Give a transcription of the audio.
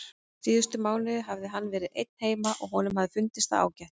Síðustu mánuðina hafði hann verið einn heima og honum hafði fundist það ágætt.